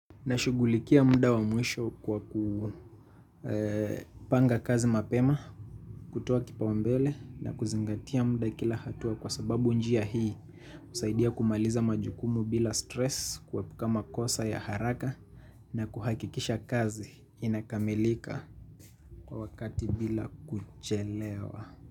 Na shugulikia muda wa mwisho kwa kupanga kazi mapema, kutoa kipao mbele na kuzingatia muda kila hatua kwa sababu njia hii kusaidia kumaliza majukumu bila stress kuepuka makosa ya haraka na kuhakikisha kazi inakamelika kwa wakati bila kuchelewa.